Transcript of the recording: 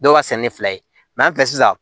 Dɔw ka sɛnɛ ni fila ye sisan